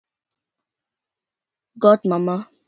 Gott mamma.